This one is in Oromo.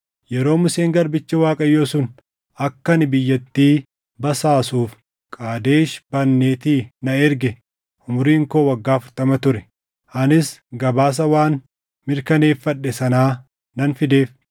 Yeroo Museen garbichi Waaqayyoo sun akka ani biyyattii basaasuuf Qaadesh Barneetii na erge umuriin koo waggaa afurtama ture. Anis gabaasa waan mirkaneeffadhe sanaa nan fideef;